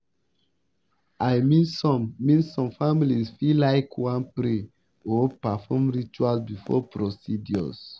i mean some mean some families fit laik wan pray or perform rituals before procedures.